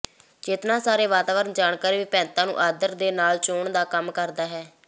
ਚੇਤਨਾ ਸਾਰੇ ਵਾਤਾਵਰਣ ਜਾਣਕਾਰੀ ਵਿਭਿੰਨਤਾ ਨੂੰ ਆਦਰ ਦੇ ਨਾਲ ਚੋਣ ਦਾ ਕੰਮ ਕਰਦਾ ਹੈ